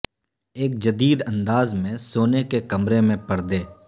ایک جدید انداز میں سونے کے کمرے میں پردے